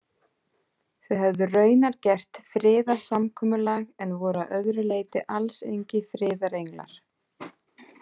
Þeir höfðu raunar gert friðarsamkomulag, en voru að öðru leyti alls engir friðarenglar.